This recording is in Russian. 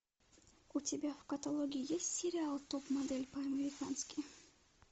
у тебя в каталоге есть сериал топ модель по американски